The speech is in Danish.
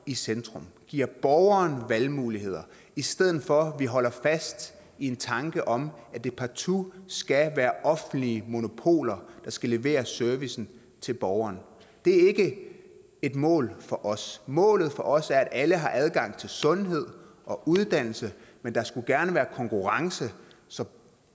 i centrum giver borgeren valgmuligheder i stedet for at vi holder fast i en tanke om at det partout skal være offentlige monopoler der skal levere servicen til borgeren det er ikke et mål for os målet for os er at alle har adgang til sundhed og uddannelse men der skulle gerne være konkurrence så